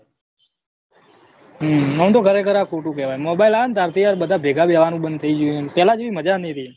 હમ એમ તો ખરેખર આ ખોટું કહેવાય mobile આયા ને તારથી આ બધા ભેગા બેસવાનું બંધ થઇ ગયું પેલા જેવી મજા નહી રહી